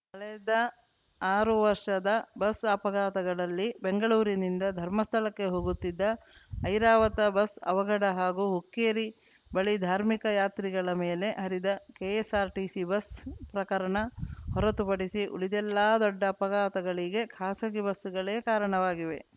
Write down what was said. ಕಳೆದ ಆರು ವರ್ಷದ ಬಸ್‌ ಅಪಘಾತಗಳಲ್ಲಿ ಬೆಂಗಳೂರಿನಿಂದ ಧರ್ಮಸ್ಥಳಕ್ಕೆ ಹೋಗುತ್ತಿದ್ದ ಐರಾವತ ಬಸ್‌ ಅವಘಡ ಹಾಗೂ ಹುಕ್ಕೇರಿ ಬಳಿ ಧಾರ್ಮಿಕ ಯಾತ್ರಿಗಳ ಮೇಲೆ ಹರಿದ ಕೆಎಸ್‌ಆರ್‌ಟಿಸಿ ಬಸ್‌ ಪ್ರಕರಣ ಹೊರತುಪಡಿಸಿ ಉಳಿದೆಲ್ಲಾ ದೊಡ್ಡ ಅಪಘಾತಗಳಿಗೆ ಖಾಸಗಿ ಬಸ್‌ಗಳೇ ಕಾರಣವಾಗಿವೆ